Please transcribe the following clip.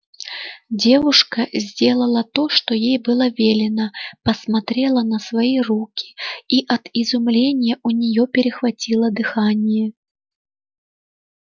девушка сделала то что ей было велено посмотрела на свои руки и от изумления у неё перехватило дыхание